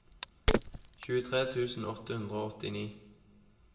tjuetre tusen åtte hundre og åttini